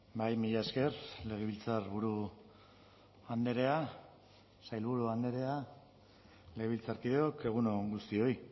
bai mila esker legebiltzarburu andrea sailburu andrea legebiltzarkideok egun on guztioi